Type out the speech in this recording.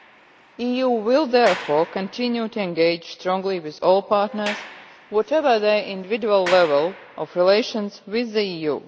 The EU will therefore continue to engage strongly with all partners whatever their individual level of relations with the EU.